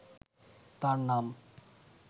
তার নাম